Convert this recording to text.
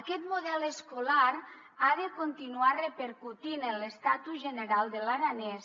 aquest model escolar ha de continuar repercutint en l’estatus general de l’aranès